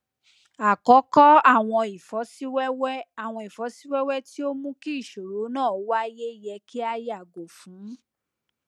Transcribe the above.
akọkọ awọn ifosiwewe awọn ifosiwewe ti o mu ki iṣoro naa waye yẹ ki a yago fun